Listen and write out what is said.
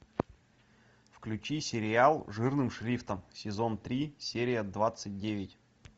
включи сериал жирным шрифтом сезон три серия двадцать девять